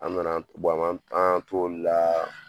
An nana an m'an an y'an t'olu la.